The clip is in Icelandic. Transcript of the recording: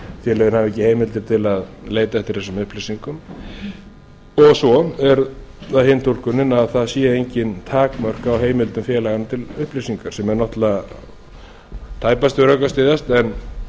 félögin hafa ekki heimildir til að leita eftir þessum upplýsingum og svo er það hin túlkunin að það sé engin takmörk á heimildum félaganna til upplýsingar sem a tæpast við rök að styðjast en